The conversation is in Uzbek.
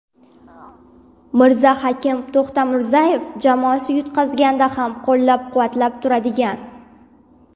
Mirzahakim To‘xtamirzayev: Jamoasi yutqazganda ham qo‘llab-quvvatlab turadigan.